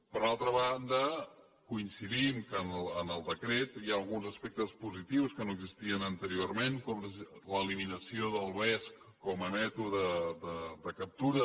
per altra banda coincidim que en el decret hi han alguns aspectes positius que no existien anteriorment com l’eliminació del vesc com a mètode de captura